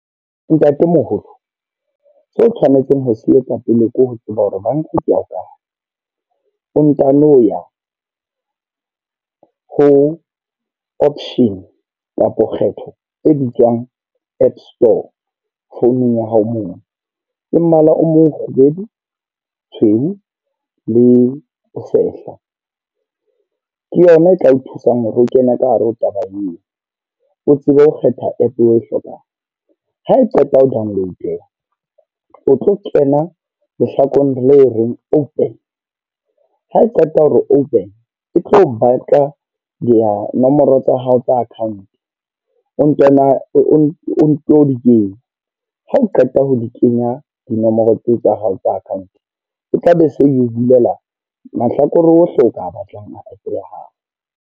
Ntatemoholo, so tshwanetseng ho se etsa pele ke ho tseba hore banka ke ya kae. O ntano ya ho option kapo kgetho e bitswang app store, founung ya hao mono. E mmala o mokgubedu, tshweu le tshela. Ke yona e tla o thusang hore o kena ka hare ho taba eo, o tsebe ho kgetha app o e hlokang. Ha e qeta ho download-eha, o tlo kena lehlakoreng le reng open, ha e qeta hore open e tlo batla le a nomoro tsa hao tsa account. I nto di kenya, ha o qeta ho di kenya dinomoro tsa hao tsa account. E tla be se yo bulela mahlakore ohle o a batlang a app ya hao.